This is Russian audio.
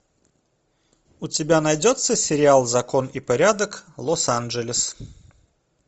у тебя найдется сериал закон и порядок лос анджелес